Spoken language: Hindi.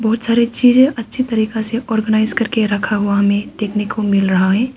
बहोत सारे चीजें अच्छी तरीका से ऑर्गनाइज करके रखा हुआ हमें देखने को मिल रहा है।